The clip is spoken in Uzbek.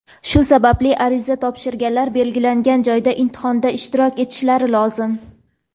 Shu sababli ariza topshirganlar belgilangan joyda imtihonda ishtirok etishlari lozim.